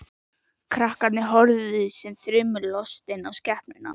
Krakkarnir horfðu sem þrumulostin á skepnuna.